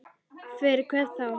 Fyrir hvern þá?